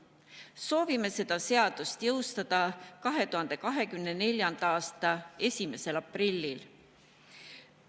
Soovime selle seaduse jõustada 2024. aasta 1. aprillil.